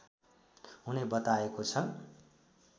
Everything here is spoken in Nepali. हुने बताएको छ